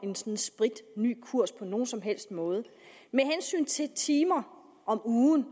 en spritny kurs på nogen som helst måde med hensyn til antal timer om ugen